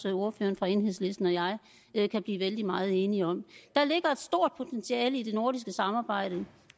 at ordføreren for enhedslisten og jeg kan blive vældig meget enige om der ligger et stort potentiale i det nordiske samarbejde